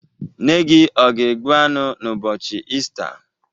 Nne gi ọ ga-egbu anu n'ubochi Ista?